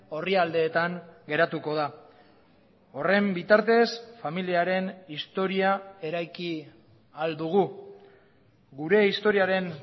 orrialdeetan geratuko da horren bitartez familiaren historia eraiki ahal dugu gure historiaren